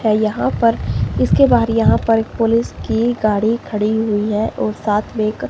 यहां पर इसके बाहर यहां पर एक पुलिस की गाड़ी खड़ी हुई है और साथ में एक--